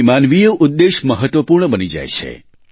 અહીં માનવીય ઉદેશ્ય મહત્વપૂર્ણ બની જાય છે